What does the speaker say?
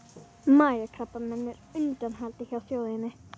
Magakrabbamein er á undanhaldi hjá þjóðinni.